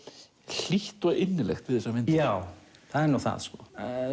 hlýtt og innilegt við þessar myndir já það er nú það sko